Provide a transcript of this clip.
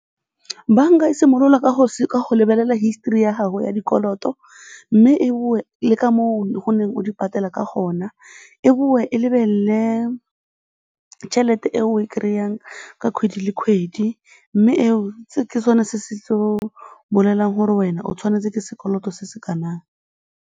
Banka e simolola ka go lebelela histori ya gago ya dikoloto mme e boe le ka moo o neng o di patela ka gona, e boe e lebelele tšhelete e o e kry-ang ka kgwedi le kgwedi mme eo ke sone se tlo bolelang gore wena o tshwanetse ke sekoloto se se kanang.